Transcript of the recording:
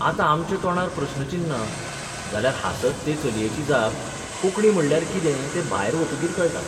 आतां आमच्या तोंडार प्रस्नचिन्नां जाल्यार हांसत ते चलयेची जाप कोंकणी म्हणल्यार कितें तें भायर वतकीर कळटा.